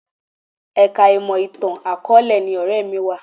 Ẹ̀ka ìmọ̀ ìtàn àkọ̀ọ́lẹ̀ ni ọ̀rẹ́ mi wà